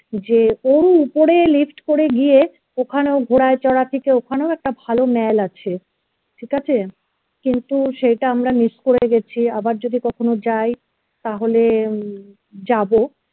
যে ওরও উপরে lift করে গিয়ে ওখানেও ঘোড়ায় চড়াই থেকে ওখানে একটা ভালো mall আছে ঠিক আছে কিন্তু সেটা আমরা miss করে গেছি আবার যদি কখনো যায় তাহলে উম যাব